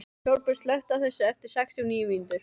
Sólbjört, slökktu á þessu eftir sextíu og níu mínútur.